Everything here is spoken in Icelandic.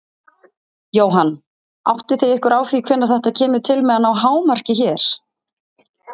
Jóhann: Áttið þið ykkur á því hvenær þetta kemur til með að ná hámarki hér?